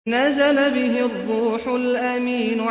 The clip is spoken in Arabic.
نَزَلَ بِهِ الرُّوحُ الْأَمِينُ